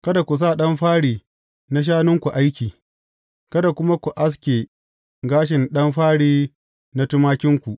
Kada ku sa ɗan fari na shanunku aiki, kada kuma ku aske gashin ɗan fari na tumakinku.